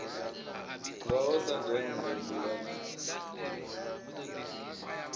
ngaho sa dende mbila na